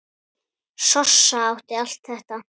Sossa átti allt þetta.